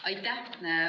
Aitäh!